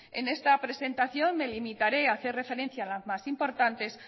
en esta presentación me limitaré a hacer referencia a las más importantes